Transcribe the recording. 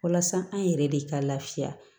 Walasa an yɛrɛ de ka lafiya